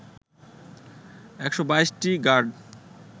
১২২টি গাড